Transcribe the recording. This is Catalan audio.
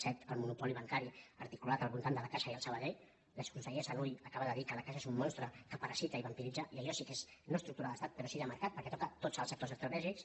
set el monopoli bancari articulat al vol·tant de la caixa i el sabadell l’exconseller sanuy acaba de dir que la caixa és un monstre que para·sita i vampiritza i allò sí que és no estructura d’estat però sí de mercat perquè toca tots els sectors estratè·gics